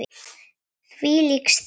Þvílík stund!